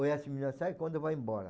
O quando vai embora.